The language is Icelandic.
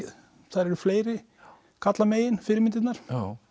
þær eru fleiri fyrirmyndirnar